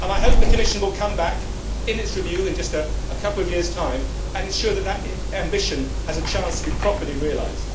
I hope that the Commission will come back in its review in a couple of years' time and ensure that this ambition has a chance to be properly realised.